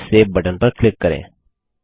और फिर save button पर क्लिक करें